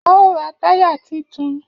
A ó ra táyà titun